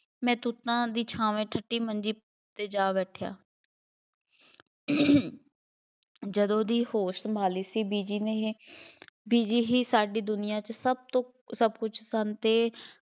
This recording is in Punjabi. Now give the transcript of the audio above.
ਮੈਂ ਤੂਤਾਂ ਦੀ ਛਾਵੇਂ ਠੰਢੀ ਮੰਜੀ 'ਤੇ ਜਾ ਬੈਠਿਆ ਜਦੋਂ ਦੀ ਹੋਸ਼ ਸੰਭਾਲੀ ਸੀ, ਬੀਜੀ ਨੇ ਬੀਜੀ ਹੀ ਸਾਡੀ ਦੁਨੀਆ 'ਚ ਸਭ ਤੋਂ ਸਭ ਕੁੱਝ ਸਨ ਅਤੇ